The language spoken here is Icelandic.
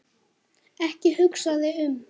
Ekki hugsa þig um.